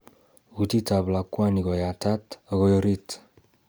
Kutit ab lakwani koyatat okoi orit